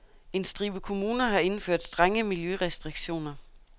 En stribe kommuner har indført strenge miljørestriktioner.